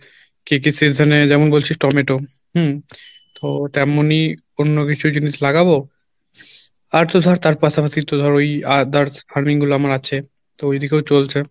কী কী season এ যেমন বলছিস টমেটো হম তো তেমনই অন্য কিছু জিনিস লাগাবো আর তো ধর তার পাশা পাশি তো ধর ওই others farming গুলো আমার আছে ওই দিকেও চলছে